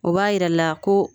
O b'a jira la ko